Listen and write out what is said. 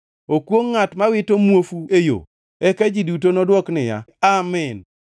“Okwongʼ ngʼat ma wito muofu e yo.” Eka ji duto nodwok niya, “Amin!”